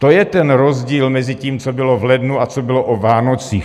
To je ten rozdíl mezi tím, co bylo v lednu a co bylo o Vánocích.